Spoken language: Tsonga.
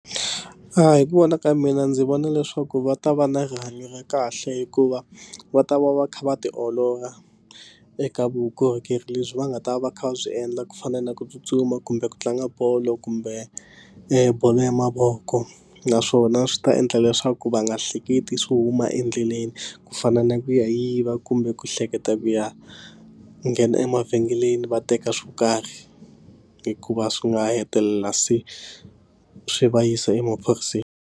A hi ku vona ka mina ndzi vona leswaku va ta va na rihanyo ra kahle hikuva va ta va va kha va ti olola eka vukorhokeri lebyi va nga ta va kha va byi endla ku fana na ku tsutsuma kumbe ku tlanga bolo kumbe e bolo ya mavoko naswona swi ta endla leswaku va nga hleketi swo huma endleleni ku fana na ku yiva kumbe ku hleketa ku ya nghena emavhengeleni va teka swo karhi hikuva swi nga hetelela se swi va yisa emaphoriseni.